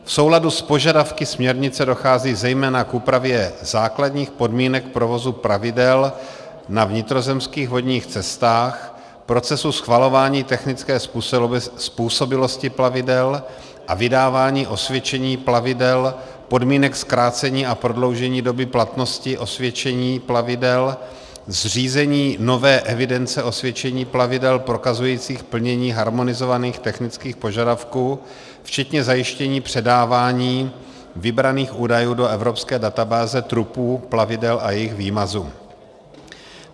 V souladu s požadavky směrnice dochází zejména k úpravě základních podmínek provozu plavidel na vnitrozemských vodních cestách, procesu schvalování technické způsobilosti plavidel a vydávání osvědčení plavidel, podmínek zkrácení a prodloužení doby platnosti osvědčení plavidel, zřízení nové evidence osvědčení plavidel prokazujících plnění harmonizovaných technických požadavků včetně zajištění předávání vybraných údajů do evropské databáze trupů plavidel a jejich výmazu.